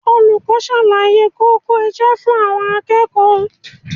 Olùkọ́ ń ṣàlàyé kókó iṣẹ́ fún àwọn akẹ́kọ̀ọ́